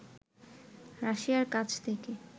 রাশিয়ার কাছ থেকে